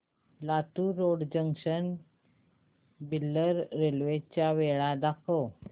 Latur road junction ते Bidar railway च्या वेळा दाखव